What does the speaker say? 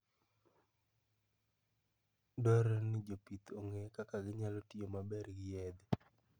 Dwarore ni jopith ong'e kaka ginyalo tiyo maber gi yedhe.